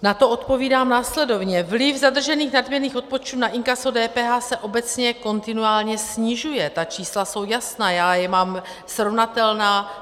Na to odpovídám následovně: Vliv zadržených nadměrných odpočtů na inkaso DPH se obecně kontinuálně snižuje, ta čísla jsou jasná, já je mám srovnatelná.